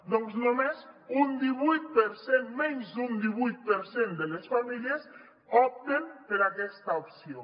doncs només un divuit per cent menys d’un divuit per cent de les famílies opten per aquesta opció